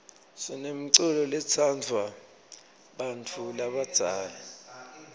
sinemculo lotsndvwa bantfu labadzala